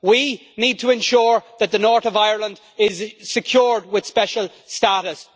We need to ensure that the North of Ireland is secured with special status.